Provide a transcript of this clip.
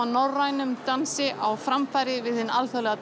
norrænum dansi á framfæri við hinn alþjóðlega